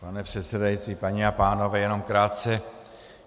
Pane předsedající, paní a pánové, jenom krátce.